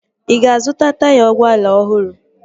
Ị ga-azụta taya ụgbọala ọhụrụ?